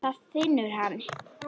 Það finnur hann.